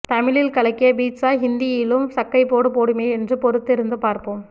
தமிழில் கலக்கிய பிட்சா ஹிந்தியிலும் சக்கைபோடு போடுமே என்று பொறுத்து இருந்து பார்ப்போம்